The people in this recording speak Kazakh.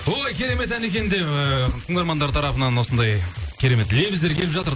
ой керемет ән екен деп ыыы тыңдармандар тарапынан осындай керемет лебіздер келіп жатыр